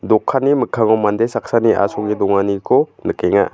dokanni mikkango mande saksani asonge donganiko nikenga.